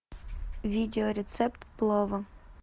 видео рецепт плова